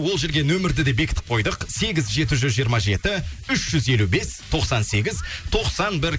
ол жерге нөмірді де бекітіп қойдық сегіз жеті жүз жиырма жеті үш жүз елу бес тоқсан сегіз тоқсан бір